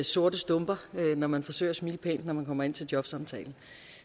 sorte stumper når man forsøger at smile pænt når man kommer ind til en jobsamtale